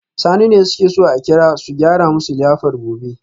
Sani ne suke so a kira su gyara musu liyafar gobe